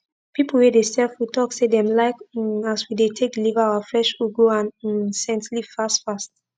pipu wey dey sell food talk say dem like um as we dey take deliver our fresh ugu and um scent leaf fast fast